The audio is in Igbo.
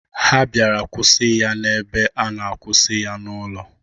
Ha bịara kwụsị ya n'ebe a na-akwụsị ya n'ụlọ.